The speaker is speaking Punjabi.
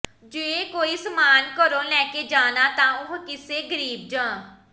ਜੇ ਕੋਈ ਸਮਾਨ ਘਰੋਂ ਲੈ ਕੇ ਜਾਣਾ ਤਾਂ ਉਹ ਕਿਸੇ ਗਰੀਬ ਜਾਂ